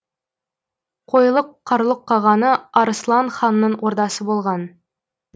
қойлық қарлұқ қағаны арыслан ханның ордасы болған